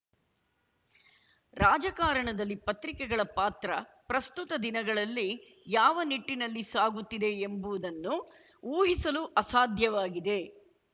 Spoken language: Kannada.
ರಾಜಕಾರಣದಲ್ಲಿ ಪತ್ರಿಕೆಗಳ ಪಾತ್ರ ಪ್ರಸ್ತುತ ದಿನಗಳಲ್ಲಿ ಯಾವ ನಿಟ್ಟಿನಲ್ಲಿ ಸಾಗುತ್ತಿದೆ ಎಂಬುವುದನ್ನು ಊಹಿಸಲು ಅಸಾಧ್ಯವಾಗಿದೆ